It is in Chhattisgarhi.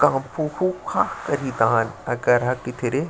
का फु फु खा करहा करा कीथी रे --